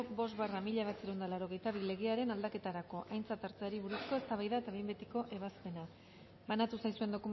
bost barra mila bederatziehun eta laurogeita bi legearen aldaketarako aintzat hartzeari buruzko eztabaida eta behin betiko ebazpena banatu zaizuen